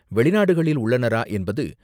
வெளிநாடுகளில் உள்ளனரா? என்பது